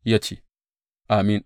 Ya ce, Amin!